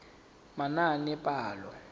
manaanepalo